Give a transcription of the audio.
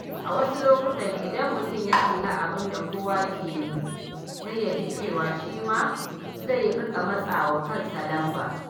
A wasu lokuta, idan mutum ya kalli abin da kowa ke yi, sai ya ji cewa shi ma zai riƙa matsa wa kansa lamba.